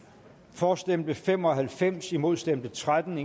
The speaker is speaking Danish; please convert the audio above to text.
for stemte fem og halvfems imod stemte tretten